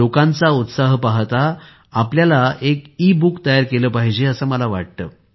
लोकांचा उत्साह पाहता आपल्याला एक ईबुक तयार केली पाहिजे असे मला वाटते